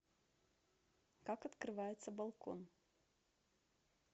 как открывается балкон